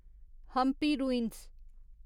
Hampi ruins